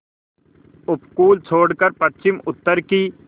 उपकूल छोड़कर पश्चिमउत्तर की